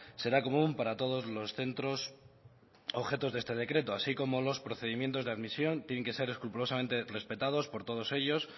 será común para todos los centros objetos de este decreto así como los procedimientos de admisión tiene que ser escrupulosamente respetados por todos ellos